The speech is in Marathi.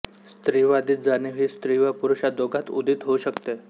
स्त्रीवादी जाणीव ही स्त्री व पुरुष या दोघांत उदित होऊ शकते